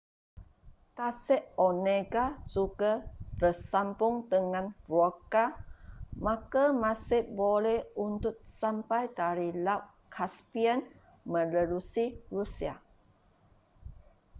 tasik onega juga tersambung dengan volga maka masih boleh untuk sampai dari laut caspian menerusi rusia